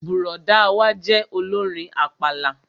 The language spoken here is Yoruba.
Bùrọ̀dá wa jẹ́ olórin àpàlà